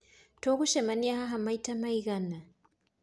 Tũgũcemania haha maita maigana?